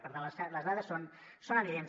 per tant les dades són evidents